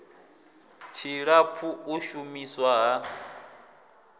tshilapfu u shu miswa ha